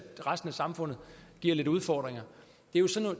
resten af samfundet giver lidt udfordringer det er